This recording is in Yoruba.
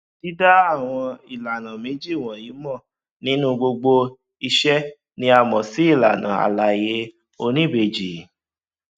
dída àwọn ìlànà méjì wọnyí mọ nínú gbogbo ìṣe ni a mọ sí ìlànà àlàyé oníbejì